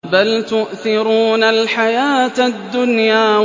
بَلْ تُؤْثِرُونَ الْحَيَاةَ الدُّنْيَا